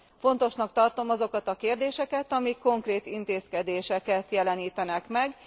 Fontosnak tartom azokat a kérdéseket, amik konkrét intézkedéseket jelenítenek meg.